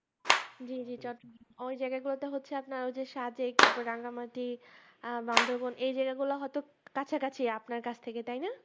জি জি চট্ট আহ ওই জায়গা গুলোতে হচ্ছে আপনার ওই যে সাজে তারপর রাঙামাটি আহ বান্ধর্বন এই জেলাগুলো হয়তো কাছাকাছি আপনার কাছ থেকে তাই না